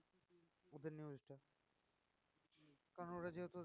কারণ ওরা যেহেতু